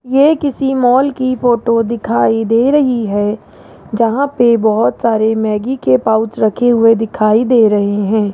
ये किसी मॉल की फोटो दिखाई दे रही है जहां पे बहुत सारे मैगी के पाउच रखे हुए दिखाई दे रहे है।